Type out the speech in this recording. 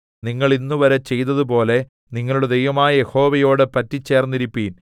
നിങ്ങൾ ഇന്നുവരെ ചെയ്തതുപോലെ നിങ്ങളുടെ ദൈവമായ യഹോവയോട് പറ്റിച്ചേർന്നിരിപ്പിൻ